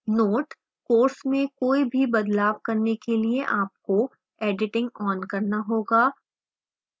note: course में कोई भी बदलाव करने के लिए आपको editing on करना होगा